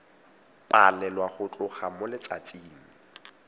balelwa go tloga mo letsatsing